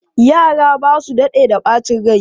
Yara ba su daɗe da ɓacin rai.